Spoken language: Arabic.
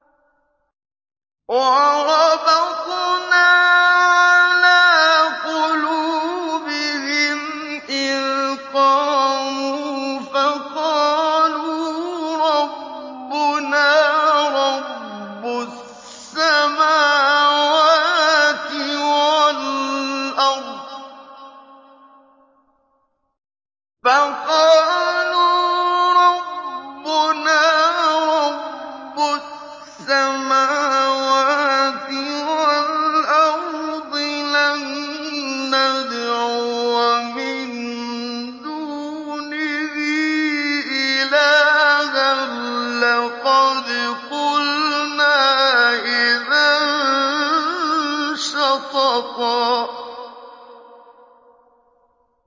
وَرَبَطْنَا عَلَىٰ قُلُوبِهِمْ إِذْ قَامُوا فَقَالُوا رَبُّنَا رَبُّ السَّمَاوَاتِ وَالْأَرْضِ لَن نَّدْعُوَ مِن دُونِهِ إِلَٰهًا ۖ لَّقَدْ قُلْنَا إِذًا شَطَطًا